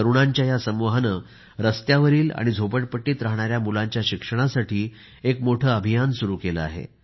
तरुणांच्या या समूहाने रस्त्यावरील आणि झोपडपट्टीत राहणाऱ्या मुलांच्या शिक्षणासाठी एक मोठे अभियान सुरु केले आहे